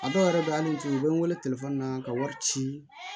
A dɔw yɛrɛ bɛ hali n'i tun bɛ n wele na ka wari ci